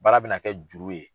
Baara bɛna kɛ juru ye.